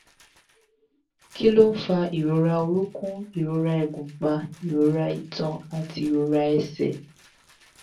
kí ló ń fa ìrora orunkun ìrora igunpa ìrora itan àti ìrora ẹsẹ̀?